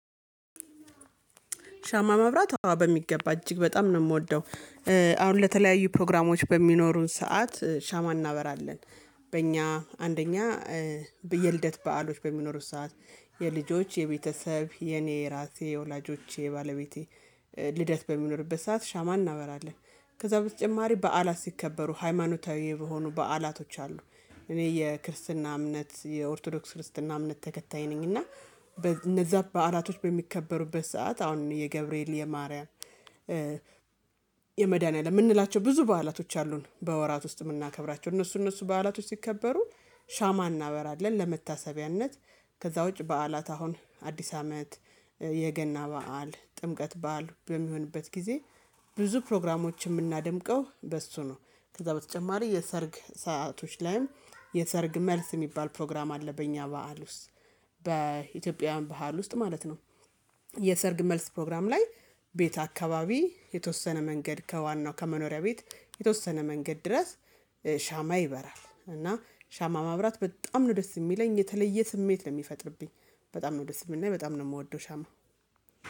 ሻማ መብራት በሚገባ እጅግ በጣም ነው ምወደው። አሁን ለተለያዩ ፕሮግራሞች በሚኖሩን ሰዓት ሻማ እናበራለን። በእኛ አንደኛ የልደት በዓሎች በሚኖሩት ሰዓት የልጆች የቤተሰብ የኔ የራሴ የወላጆቼ የባለቤቴ ልደት በሚኖርበት ሰዓት ሻማ እናበራለን ከዛ በተጨማሪ በዓላት ሲከበሩ ሃይማኖታዊ የሆኑ በዓላቶች አሉ እኔ የክርስትና እምነት የኦርቶዶክስ ክርስትና እምነት ተከታይ ነኝ። እና እነዛ በዓላቶች በሚከበሩበት ሰዓት አሁን የገብርኤል የማርያም የመድኃኒያ ለምንላቸው ብዙ በዓላቶች አሉን በወራት ውስጥ የምናከብራቸው እነሱ እነሱ በዓላቶች ሲከበሩ ሻማ እናበራለን ለመታሰቢያነት ከዛ ውጪ በዓላት አሁን አዲስ አመት የገና በዓል ጥምቀት በዓል በሚሆንበት ጊዜ ብዙ ፕሮግራሞችን ምናደምቀው በሱ ነው ከዛ በተጨማሪ የሰርግ ሰአቶች ላይም የሰርግ መልስ የሚባል ፕሮግራም አለ በእኛ በዓል ውስጥ በኢትዮጵያውያን ባህል ውስጥ ማለት ነው የሰርግ መልስ ፕሮግራም ላይ ቤት አካባቢ የተወሰነ መንገድ ከዋናው ከመኖሪያ ቤት የተወሰነ መንገድ ድረስ ሻማ ይበራል። እና ሻማ ማብራት በጣም ነው ደስ ሚለኝ የተለየ ስሜት ነው ሚፈጥርብኝ በጣም ነው ደስ ሚለኝ በጣም ነው ምወደው ሻማ